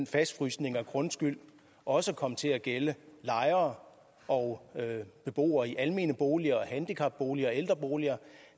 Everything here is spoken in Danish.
fastfrysningen af grundskylden også kom til at gælde lejere og beboere i almene boliger handicapboliger og ældreboliger